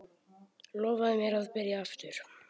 Lofaðu mér að byrja aftur!